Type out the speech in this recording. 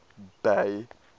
bay